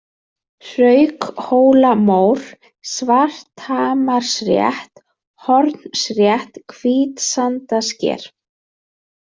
Hraukhólamór, Svarthamarsrétt, Hornsrétt, Hvítsandasker